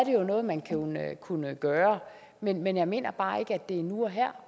noget man kunne gøre men men jeg mener bare ikke at det er nu og her